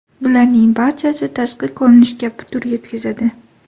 Bularning barchasi tashqi ko‘rinishga putur yetkazadi.